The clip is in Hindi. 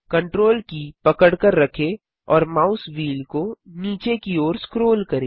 Ctrl की पकड़कर रखें और माउस व्हील को नीचे की ओर स्क्रोल करें